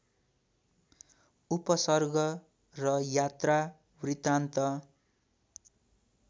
उपसर्ग र यात्रावृत्तान्त